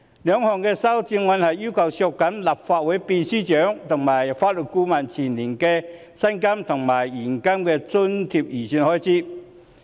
兩項修正案分別要求削減立法會秘書處秘書長及法律顧問的薪金及現金津貼預算開支。